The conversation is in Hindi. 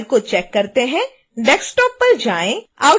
अब अपनी फाइल को चेक करते हैं desktop पर जाएँ